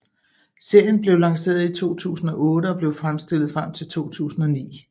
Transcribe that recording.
Serien blev lanceret i 2008 og blev fremstillet frem til 2009